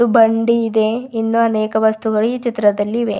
ಬಂಡಿ ಇದೆ ಇನ್ನೂ ಅನೇಕ ವಸ್ತುಗಳು ಈ ಚಿತ್ರದಲ್ಲಿ ಇವೆ.